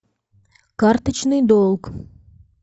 карточный долг